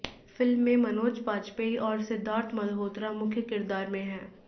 film में मनोज बाजपेई और सिद्धार्थ मल्होत्रा मुख्य किरदार में हैं